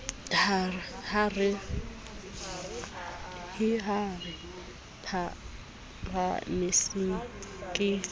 he ha re phahamiseng ke